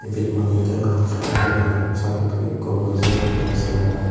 ibet manuj degongor satto manuj sattutton ikko boji agey segarot .